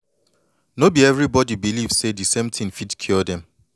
no be everybody believe say de same thin fit cure dem